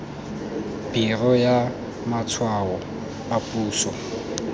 biro ya matshwao a puso